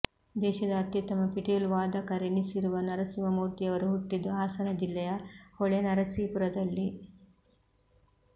ದೇಶದ ಅತ್ಯುತ್ತಮ ಪಿಟೀಲು ವಾದಕರೆನಿಸಿರುವ ನರಸಿಂಹ ಮೂರ್ತಿಯವರು ಹುಟ್ಟಿದ್ದು ಹಾಸನ ಜಿಲ್ಲೆಯ ಹೊಳೆನರಸೀಪುರದಲ್ಲಿ